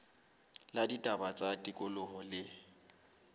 la ditaba tsa tikoloho le